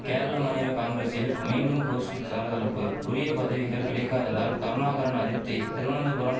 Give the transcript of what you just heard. கேரள மாநில காங்கிரசில் மீண்டும் கோஷ்டி சலசலப்பு உரிய பதவிகள் கிடைக்காததால் கருணாகரன் அதிர்ப்தி திருவனந்தபுரம்